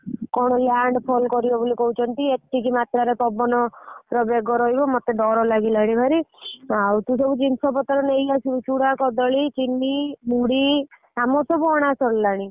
କଣ landfall କରିବ କହୁଛନ୍ତି ଏତିକି ମାତ୍ର ରେ ପବନର ବେଗ ରହିବ ମତେ ଡ଼ର ଲାଗିଲାଣି ଭାରି ଆଉ ତୁ ସବୁ ଜିନିଷ ପତ୍ର ନେଇଆସିବୁ ଚୂଡା କଦଳୀ ଚିନି ମୁଢି ଆମର ସବୁ ଅଣା ସାରିଲଣି।